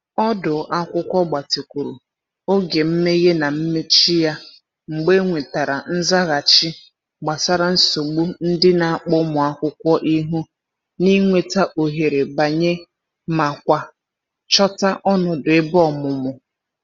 Ọdu akwụkwọ gbatịkwuru oge mmehe na mmechi ya mgbe e nwetara nzaghachi gbasara nsogbu ndị n'akpọ ụmụ akwụkwọ ihu n’ịnweta ohere banye ma kwa chota ọnọdụ ebe ọmụmụ.